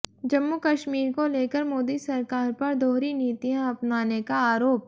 जम्मू कश्मीर को लेकर मोदी सरकार पर दोहरी नीतियां अपनाने का आरोप